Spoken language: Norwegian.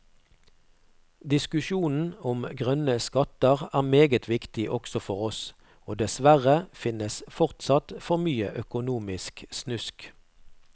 Diskusjonen om grønne skatter er meget viktig også for oss, og dessverre finnes fortsatt for mye økonomisk snusk.